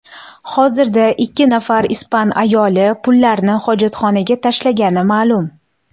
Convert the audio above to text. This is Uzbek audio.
Hozirda ikki nafar ispan ayoli pullarni hojatxonaga tashlagani ma’lum.